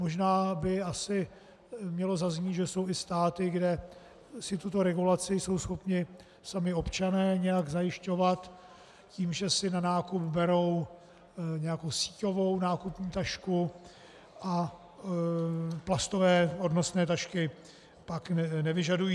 Možná by asi mělo zaznít, že jsou i státy, kde si tuto regulaci jsou schopni sami občané nějak zajišťovat tím, že si na nákup berou nějakou síťovou nákupní tašku a plastové odnosné tašky pak nevyžadují.